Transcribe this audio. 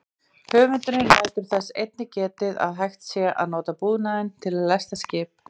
Höfundurinn lætur þess einnig getið að hægt sé að nota búnaðinn til að lesta skip.